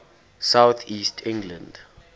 south east england